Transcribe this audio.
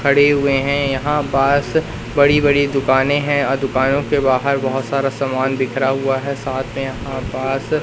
खड़े हुए हैं। यहां पास बड़ी बड़ी दुकाने हैं और दुकानों के बाहर बहुत सारा सामान बिखरा हुआ है साथ में यहां पास --